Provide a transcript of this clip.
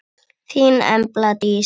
Þín Embla Dís.